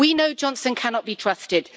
We know Johnson cannot be trusted.